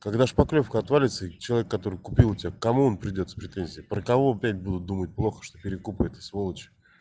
когда шпаклёвка отвалится и человек который купил у тебя к кому он придёт с претензией про кого опять будут думать плохо что перекупаете сволочи